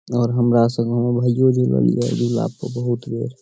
और हमरा संग हमर भाईयो झूलल या झूला पर बहुत बेर --